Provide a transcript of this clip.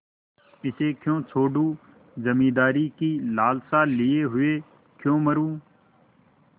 इसे क्यों छोडूँ जमींदारी की लालसा लिये हुए क्यों मरुँ